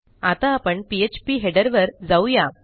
आता आपण फीडर वर जाऊ या